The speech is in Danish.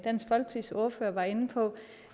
som ordfører var inde på